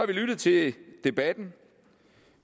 vi lyttet til debatten